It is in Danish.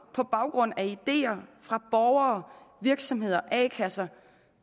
på baggrund af ideer fra borgere virksomheder a kasser og